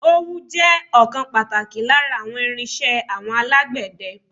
Ówú jẹ́ ọ̀kan pàtàkì lára àwọn irín-iṣẹ́ àwọn alágbẹ̀dẹ.